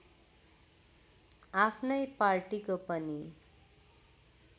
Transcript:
आफ्नै पार्टीको पनि